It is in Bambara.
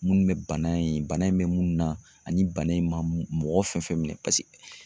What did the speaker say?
Munnu bɛ bana in bana in bɛ munnu na ani bana in ma mɔgɔ fɛn fɛn minɛ